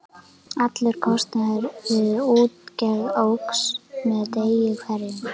Allur kostnaður við útgerð óx með degi hverjum.